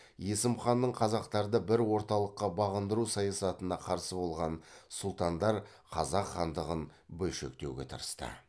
есім ханның қазақтарды бір орталыққа бағындыру саясатына қарсы болған сұлтандар қазақ хандығын бөлшектеуге тырысты